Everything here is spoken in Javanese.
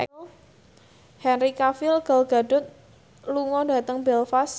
Henry Cavill Gal Gadot lunga dhateng Belfast